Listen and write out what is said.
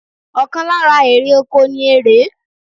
Ọ̀kan lára èrè oko ni erèé